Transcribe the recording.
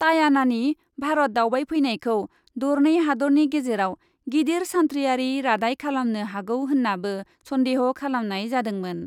टायानानि भारत दावबायफैनायखौ दरनै हादतनि गेजेराव गिदिर सान्थ्रियारि रादाय खालामनो हागौ होन्नाबो सन्देह' खालामनाय जादोंमोन।